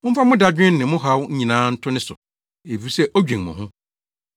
Momfa mo dadwen ne mo haw nyinaa nto ne so, efisɛ odwen mo ho.